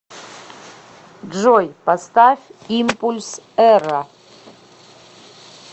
джой поставь импульс эра